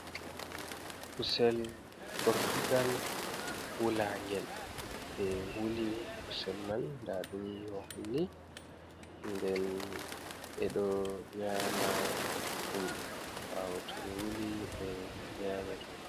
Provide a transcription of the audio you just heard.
Kusel gortugal wulangel, ɓe wuli kusel man nda ɗum no honni nden ɓeɗo nyama ɗum, ɓawo to ɓe wuli ɓe nyama ɗum.